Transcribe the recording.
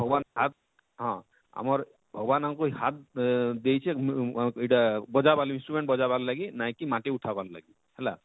ଭଗବାନ ହଁ ଆମର ଭଗବାନ ଆମକୁ ଇ ହାତ ଦେଇଛେ ଆଃ ଇଟା ବଜା ବାର ଲାଗି ଇଟା intrument ବଜା ବାର ଲାଗି ନାଇଁ କି ମାଟି ଉଠାବାର ଲାଗି ହେଲା,